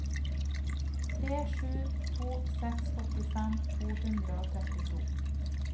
tre sju to seks åttifem to hundre og trettito